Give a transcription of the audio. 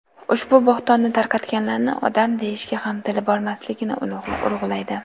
ushbu bo‘htonni tarqatganlarni odam deyishga ham tili bormasligini urg‘ulaydi:.